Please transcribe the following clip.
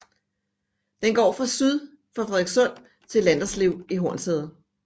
Den går fra syd for Frederikssund til Landerslev i Hornsherred